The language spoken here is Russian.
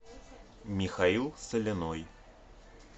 михаил соляной